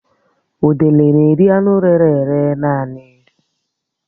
Udele n'eri anụ rére ere naanị